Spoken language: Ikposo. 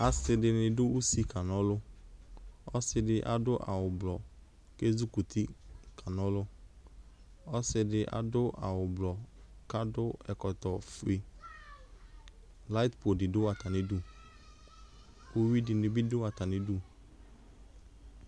Asɩdɩnɩ dʋ usi kanɔlʋ, k'ɔsɩdɩ adʋ awʋblɔ kezikuti kanɔlʋ Ɔsɩdɩ adʋ awʋblɔ k'akɔ ɛkɔtɔfue Layɩpʋ dɩ dʋ atamidu k'uyui dɩnɩ bɩ dʋ atamidu